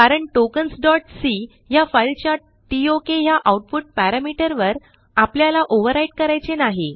कारण tokensसी ह्या फाईलच्या टोक ह्या आउटपुट पॅरामीटर वर आपल्याला ओव्हरव्हराईट करायचे नाही